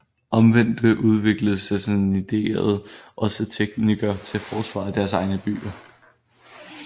Omvendt udviklede sassaniderne også teknikker til forsvar af deres egne byer